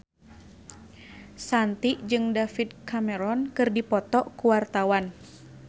Shanti jeung David Cameron keur dipoto ku wartawan